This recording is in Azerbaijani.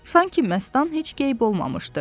Sanki Məstan heç qeyb olmamışdı.